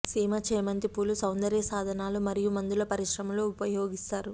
సీమ చేమంతి పూలు సౌందర్య సాధనాల మరియు మందుల పరిశ్రమలలో ఉపయోగిస్తారు